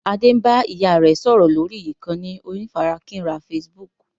Adé ń bá ìyá rẹ sọ̀rọ̀ lórí ìkànnì onífarakínra Facebook